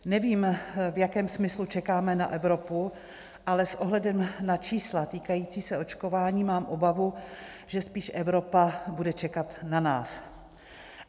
Nevím, v jakém smyslu čekáme na Evropu, ale s ohledem na čísla týkající se očkování mám obavu, že spíš Evropa bude čekat na nás.